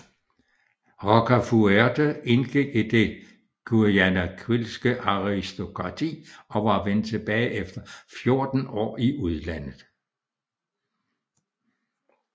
Rocafuerte indgik i det Guayaquilske aristokrati og var vendt tilbage efter 14 år i udlandet